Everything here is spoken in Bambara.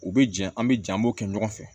U bɛ jɛ an bɛ jɛn an b'o kɛ ɲɔgɔn fɛ